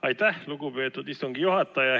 Aitäh, lugupeetud istungi juhataja!